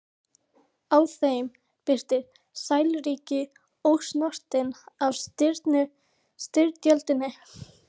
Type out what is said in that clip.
Á þeim birtist sæluríki, ósnortið af styrjöldinni.